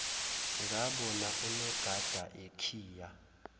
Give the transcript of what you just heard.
ngabona unogada ekhiya